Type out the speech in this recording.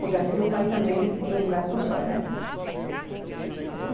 Porque assim o pai também é um gato só, né?